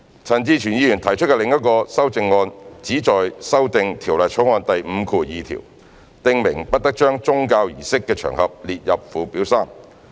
陳志全議員提出的另一項修正案旨在修訂《條例草案》第52條，訂明不得將宗教儀式的場合列入附表3。